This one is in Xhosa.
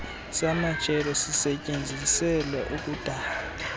samajelo sisetyenziselwa ukudala